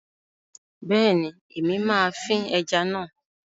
Bẹ́ẹ̀ni, Èmi máa fín ẹja náà